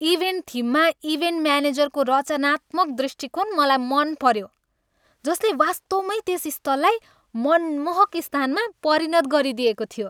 Event थिममा event म्यानेजरको रचनात्मक दृष्टिकोण मलाई मन पऱ्यो, जसले वास्तवमै त्यस स्थललाई मनमोहक स्थानमा परिणत गरिदिएको थियो।